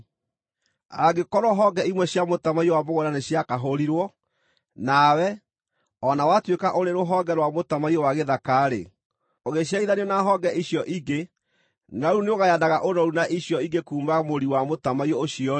Angĩkorwo honge imwe cia mũtamaiyũ wa mũgũnda nĩciakahũrirwo, nawe, o na watuĩka ũrĩ rũhonge rwa mũtamaiyũ wa gĩthaka-rĩ, ũgĩciarithanio na honge icio ingĩ, na rĩu nĩũgayanaga ũnoru na icio ingĩ kuuma mũri wa mũtamaiyũ ũcio-rĩ,